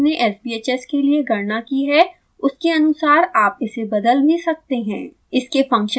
आपने जो अपने sbhs के लिए गणना की है उसके अनुसार आप इसे बदल भी सकते हैं